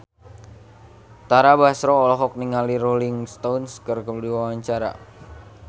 Tara Basro olohok ningali Rolling Stone keur diwawancara